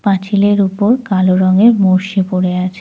পাঁচিলের উপর কালো রঙের মোর্শি পড়ে আছে।